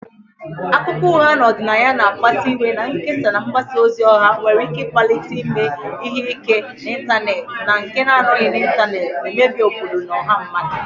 Akụkọ ụgha na ọdịnaya mkpasu iwe na-ekesa na mgbasa ozi ọha nwere ike ịkpalite ime ihe ike n'ịntanetị na nke na-anọghị n'ịntanetị, na-emebi obodo na ọha mmadụ.